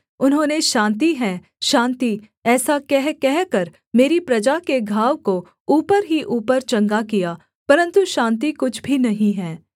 उन्होंने शान्ति है शान्ति ऐसा कह कहकर मेरी प्रजा के घाव को ऊपर ही ऊपर चंगा किया परन्तु शान्ति कुछ भी नहीं है